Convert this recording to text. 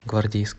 гвардейск